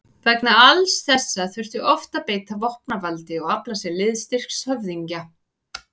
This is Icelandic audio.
Vegna alls þessa þurfti oft að beita vopnavaldi og afla sér liðstyrks höfðingja.